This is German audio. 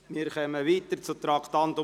Wir kommen zum Traktandum 63: